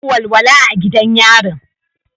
Babu walwala a gidan yarin.